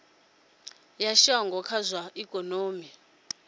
ya shango kha zwa ikonomi